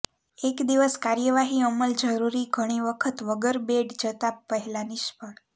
એક દિવસ કાર્યવાહી અમલ જરૂરી ઘણી વખત વગર બેડ જતાં પહેલાં નિષ્ફળ